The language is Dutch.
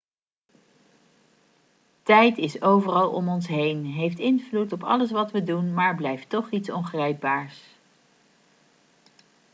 tijd is overal om ons heen heeft invloed op alles wat we doen maar blijft toch iets ongrijpbaars